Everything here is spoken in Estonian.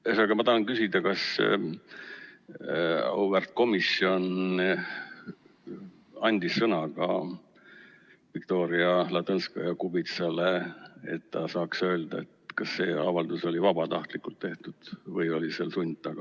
Ühesõnaga, ma tahan küsida, kas auväärt komisjon andis sõna ka Viktoria Ladõnskaja-Kubitsale, et ta saaks öelda, kas see avaldus oli vabatahtlikult tehtud või oli seal sund taga.